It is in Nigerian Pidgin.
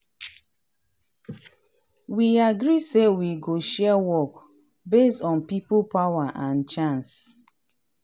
we agree say we go share work base on people power and chance.